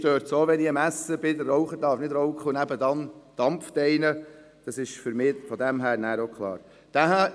Mich stört es auch, wenn ich am Essen bin und der Raucher nicht rauchen darf, aber nebenan jemand dampft.